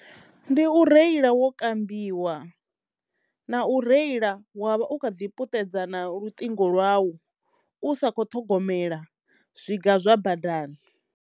Ndi u reila wo kambiwa na u reila wa vha u kha ḓi puṱedza na luṱingo lwau u sa kho ṱhogomela zwiga zwa badani.